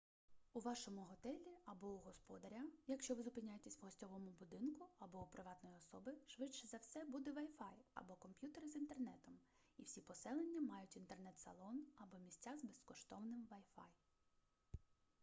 у вашому готелі або у господаря якщо ви зупиняєтесь в гостьовому будинку або у приватної особи швидше за все буде wi-fi або комп'ютер із інтернетом і всі поселення мають інтернет-салон або місця з безкоштовним wi-fi